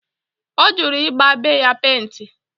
O juru i gba be ya penti